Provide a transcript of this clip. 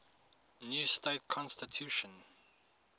new state constitution